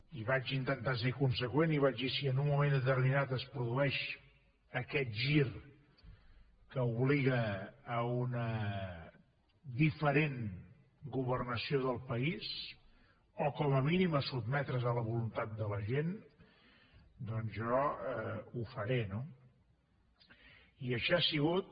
i vaig intentar ser conseqüent i vaig dir si en un moment determinat es produeix aquest gir que obliga a una diferent governació del país o com a mínim a sotmetre’s a la voluntat de la gent doncs jo ho faré no i així ha sigut